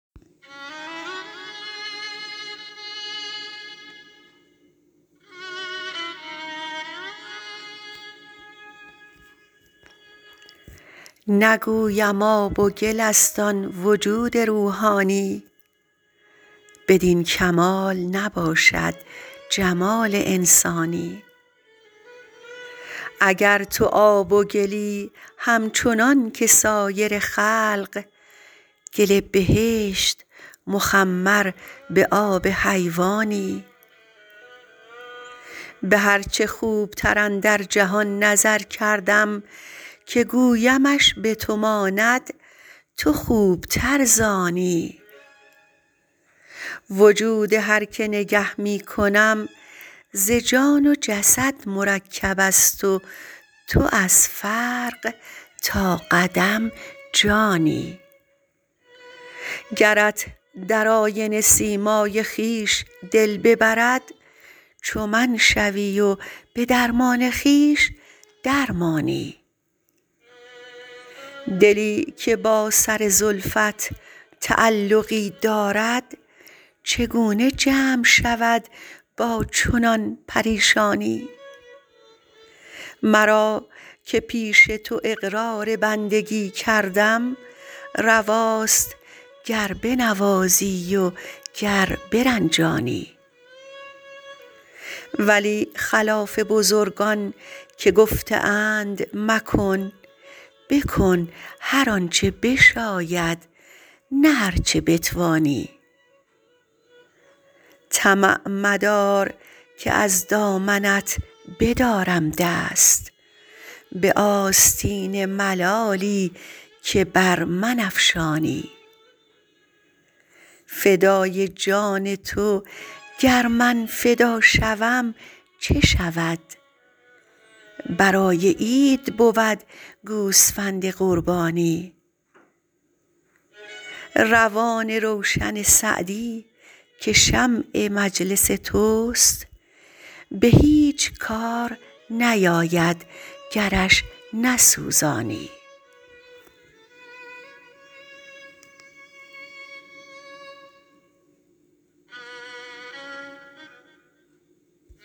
نگویم آب و گل است آن وجود روحانی بدین کمال نباشد جمال انسانی اگر تو آب و گلی همچنان که سایر خلق گل بهشت مخمر به آب حیوانی به هر چه خوبتر اندر جهان نظر کردم که گویمش به تو ماند تو خوبتر ز آنی وجود هر که نگه می کنم ز جان و جسد مرکب است و تو از فرق تا قدم جانی گرت در آینه سیمای خویش دل ببرد چو من شوی و به درمان خویش در مانی دلی که با سر زلفت تعلقی دارد چگونه جمع شود با چنان پریشانی مرا که پیش تو اقرار بندگی کردم رواست گر بنوازی و گر برنجانی ولی خلاف بزرگان که گفته اند مکن بکن هر آن چه بشاید نه هر چه بتوانی طمع مدار که از دامنت بدارم دست به آستین ملالی که بر من افشانی فدای جان تو گر من فدا شوم چه شود برای عید بود گوسفند قربانی روان روشن سعدی که شمع مجلس توست به هیچ کار نیاید گرش نسوزانی